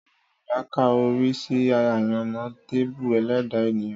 Àwọn Yorùbá ka orí sí àyànmọ́ tàbí ẹlẹ́dàá ènìyàn